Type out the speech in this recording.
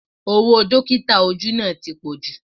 Owó Dọ́kítà ojú náà ti pọju